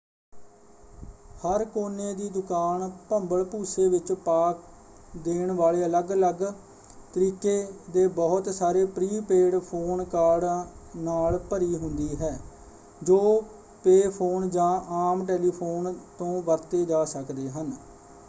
ਹਰ ਕੋਨੇ ਦੀ ਦੁਕਾਨ ਭੰਬਲਭੂਸੇ ਵਿੱਚ ਪਾ ਦੇਣ ਵਾਲੇ ਅਲੱਗ ਅਲੱਗ ਤਰੀਕੇ ਦੇ ਬਹੁਤ ਸਾਰੇ ਪ੍ਰੀ-ਪੇਡ ਫ਼ੋਨ ਕਾਰਡਾਂ ਨਾਲ ਭਰੀ ਹੁੰਦੀ ਹੈ ਜੋ ਪੇਅ ਫ਼ੋਨ ਜਾਂ ਆਮ ਟੈਲੀਫ਼ੋਨ ਤੋਂ ਵਰਤੇ ਜਾ ਸਕਦੇ ਹਨ।